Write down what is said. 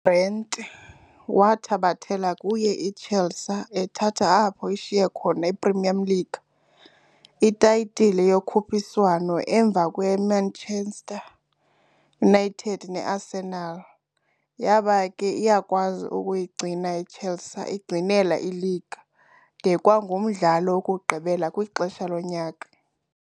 UGrant wathabathela kuye iChelsea ethatha apho ishiye khona i-Premier League "Itayitile yokhuphiswano" emva kweManchester United neArsenal, yaba ke iyakwazi ukuyigcina iChelsea iyigcinela "ileague" de kwangumdlalo wokugqibela kwixesha lonyaka.